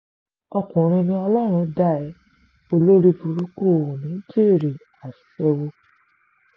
ọkùnrin ni ọlọ́run dá ẹ olórìbùrùkù o ò ní í jèrè aṣẹ́wó